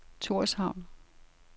Torshavn